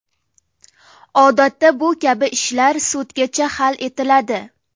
Odatda bu kabi ishlar sudgacha hal etiladi.